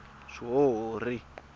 swihuhuri